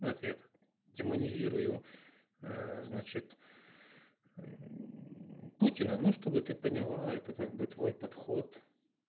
ответ демонизирую значит путина ну чтобы ты поняла это как бы твой подход